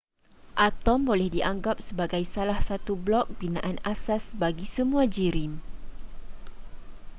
atom boleh dianggap sebagai salah satu blok binaan asas bagi semua jirim